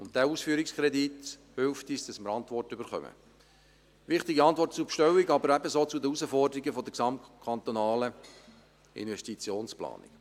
Dieser Ausführungskredit hilft uns, Antworten zu erhalten, wichtige Antworten zur Bestellung, aber ebenso zu den Herausforderungen der gesamtkantonalen Investitionsplanung.